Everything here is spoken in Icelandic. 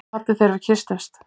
Hún kvaddi þegar við kysstumst.